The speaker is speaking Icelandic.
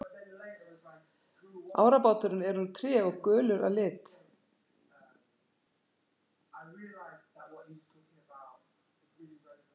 Árabáturinn er úr tré og gulur að lit.